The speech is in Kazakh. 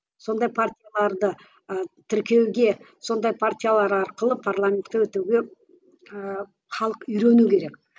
сондай партияларды ы тіркеуге сондай партиялар арқылы парламентке өтуге ііі халық үйрену керек